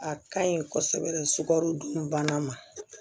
A ka ɲi kosɛbɛ sukaro dun bana ma